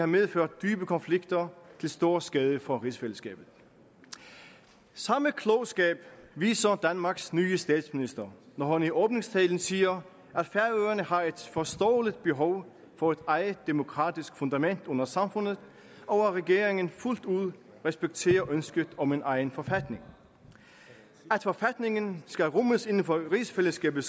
medført dybe konflikter til stor skade for rigsfællesskabet samme klogskab viser danmarks nye statsminister når hun i åbningstalen siger at færøerne har et forståeligt behov for et eget demokratisk fundament under samfundet og at regeringen fuldt ud respekterer ønsket om en egen forfatning at forfatningen skal rummes inden for rigsfællesskabet